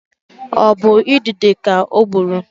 Ọ bụ idide ka ọ gburu?